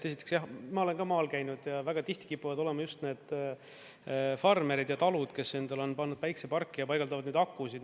Esiteks, jah, ma olen ka maal käinud ja väga tihti kipuvad olema just need farmerid ja talud, kes endale on pannud päikeseparki ja paigaldavad neid akusid.